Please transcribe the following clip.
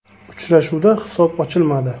Uchrashuvda hisob ochilmadi.